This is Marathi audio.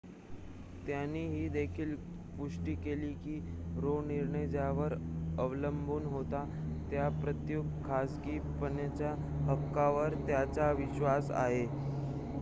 त्यांनी ही देखील पुष्टी केली की रो निर्णय ज्यावर अवलंबून होता त्या प्रयुक्त खासगीपणाच्या हक्कावर त्यांचा विश्वास आहे